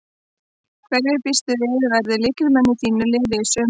Hverjir býstu við að verði lykilmenn í þínu liði í sumar?